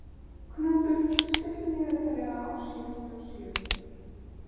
Knútur, stilltu niðurteljara á sjötíu og sjö mínútur.